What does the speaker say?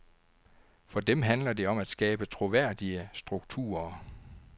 For dem handler det om at skabe troværdige strukturer.